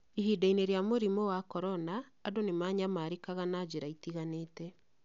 Ihinda-inĩ rĩa mũrimũ wa korona, andũ nĩ maanyamarĩkaga na njĩra itiganĩte